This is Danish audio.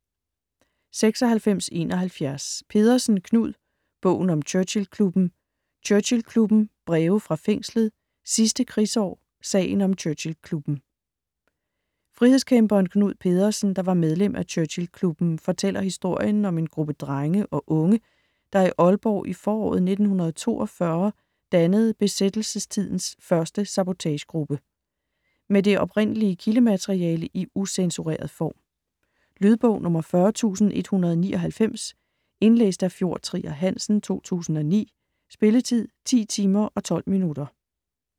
96.71 Pedersen, Knud: Bogen om Churchill-klubben: Churchill-klubben, Breve fra fængslet, Sidste krigsår, Sagen om Churchill-klubben Frihedskæmperen Knud Pedersen, der var medlem af Churchill-klubben, fortæller historien om en gruppe drenge og unge, der i Aalborg i foråret 1942 dannede besættelsestidens første sabotagegruppe. Med det oprindelige kildemateriale i ucensureret form. Lydbog 40199 Indlæst af Fjord Trier Hansen, 2009. Spilletid: 10 timer, 12 minutter.